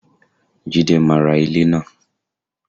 Jide máa ra ilẹ̀ náà